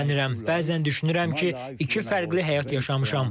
Bəzən düşünürəm ki, iki fərqli həyat yaşamışam.